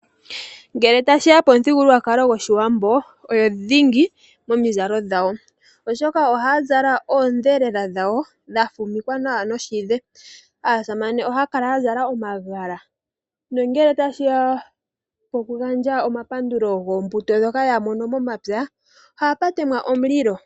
Ngele tashi ya pomuthigululwakalo gwoshiwambo, oyo dhingi momizalo dhawo oshoka ohaya zala oodhelela dhawo dha fumikwa nawa noshidhe. Aasamane ohaya kala ya zala omagala nongele tashi ya poku gandja omapandulo goombuto dhoka yamono momapya, ohapu temwa omulilo.